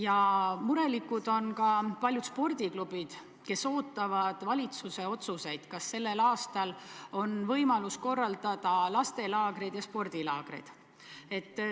Ja murelikud on ka paljud spordiklubid, kes ootavad valitsuse otsuseid, kas sellel aastal on võimalik korraldada laste- ja spordilaagreid.